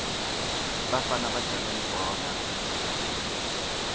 bafana badlala libhola